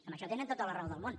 en això tenen tota la raó del món